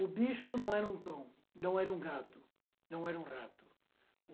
O bicho não era um cão, não era um gato, não era um rato.